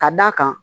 Ka d'a kan